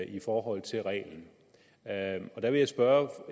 i forhold til reglen og der vil jeg spørge